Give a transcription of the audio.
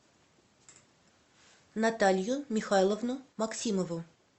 наталью михайловну максимову